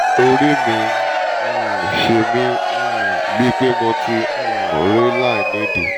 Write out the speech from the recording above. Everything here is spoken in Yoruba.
orí mi ń um ṣe mí um bíi pé mo ti um rẹ́ láìnídìí